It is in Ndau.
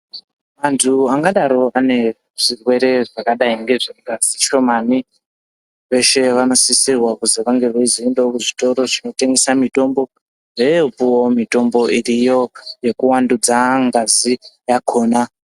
Anthu angadaro ane zvirwere zvakadai ngezvengazi shomani veshe vanosisirwa kuzi vange veizoendao kuzvitoro zvinotengesa mitombo veepo mitombo iriyo yekuvandudza ngazi how